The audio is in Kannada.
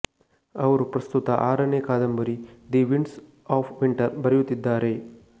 ಅವರು ಪ್ರಸ್ತುತ ಆರನೇ ಕಾದಂಬರಿ ದಿ ವಿಂಡ್ಸ್ ಆಫ್ ವಿಂಟರ್ ಬರೆಯುತ್ತಿದ್ದಾರೆ